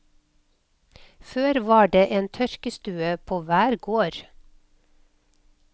Før var det en tørkestue på hver gård.